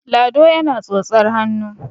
lado yana tsotsar hannu